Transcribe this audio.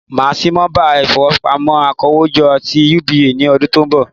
Màá sí nọ́mbà ìfowópamọ́ akówójọ́ ti UBA ní ọdún tí ó n bọ̀